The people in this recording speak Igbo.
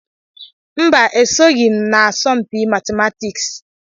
Mba, esoghị m n'asọmpi matịmatịks.